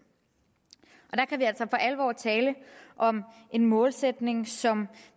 og alvor tale om en målsætning som